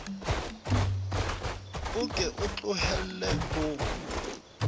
o ke o tlohelle ho